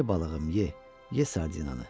Ye balığım, ye, ye sardinanı.